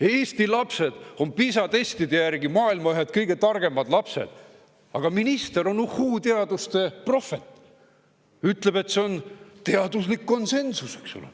Eesti lapsed on PISA testide järgi maailma ühed kõige targemad lapsed, aga minister on uhhu-teaduste prohvet, ütleb, et see on teaduslik konsensus.